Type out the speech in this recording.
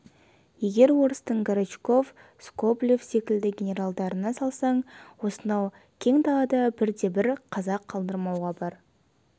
егер орыстың горчаков скоблев секілді генералдарына салсаң осынау кең далада бірде-бір қазақ қалдырмауға бар